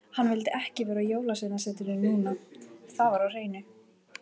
Hann vildi ekki vera á Jólasveinasetrinu núna, það var á hreinu.